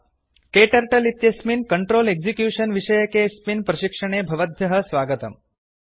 KTurtleइत्यस्मिन् control execution विषयके अस्मिन् प्रशिक्षणे भवद्भ्यः स्वागतम्